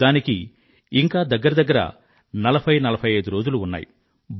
దానికి ఇంకా దగ్గర దగ్గర 40 45 రోజులు ఉన్నాయి